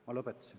Ma lõpetasin.